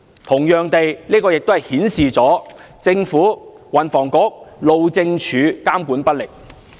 同樣地，這亦顯示了政府、運輸及房屋局、路政署監管不力。